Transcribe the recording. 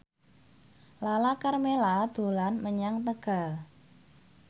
Lala Karmela dolan menyang Tegal